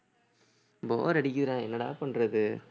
bore அடிக்குதுடா என்னடா பண்றது